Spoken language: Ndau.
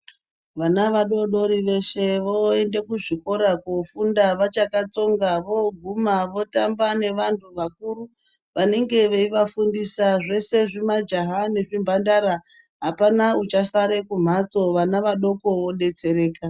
Vana vadoodori veshe voende kuzvikora koofunda vachakatsonga vooguma votamba nevantu vakuru vanenge veivafundisa zveshe zvimajaha nezvimhandara apana uchasara kumhatso. Vana vadoko vodetsereka.